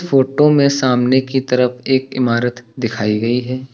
Photo में सामने की तरफ एक इमारत दिखाई गई है।